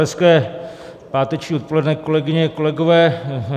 Hezké páteční odpoledne, kolegyně, kolegové.